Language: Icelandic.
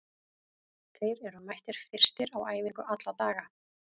Þeir eru mættir fyrstir á æfingu alla daga.